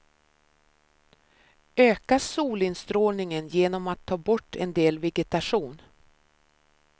Öka solinstrålningen genom att ta bort en del vegetation.